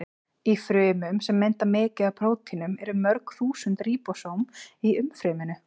Í frumum sem mynda mikið af prótínum eru mörg þúsund ríbósóm í umfryminu.